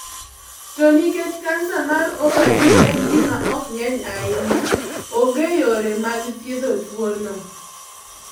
To nikech kansa mar ovari en gima ok nge'ny ahinya, onge yore mag thiedho tuwono.